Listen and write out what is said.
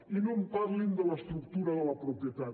i no em parlin de l’estructura de la propietat